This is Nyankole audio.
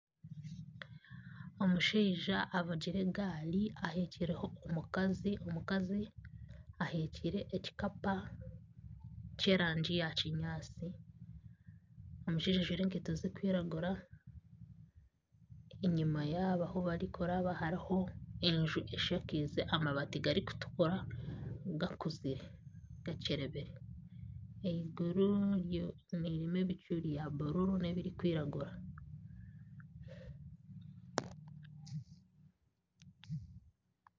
Omushaija avugire egaari aheekireho omukazi, omukazi aheekire ekikapu ky'erangi ya kinyaatsi. Omushaija ajaire enkaito zirikwiragura. Enyima yaabo ahu barikuraba hariho enju eshakaize amabaati garikutukura gakuzire gakyerebire. Eiguru ririmu ebicu bya bururu n'ebirikwiragura.